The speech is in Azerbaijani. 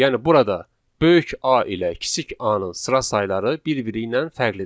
Yəni burada böyük A ilə kiçik A-nın sıra sayları bir-biri ilə fərqlidir.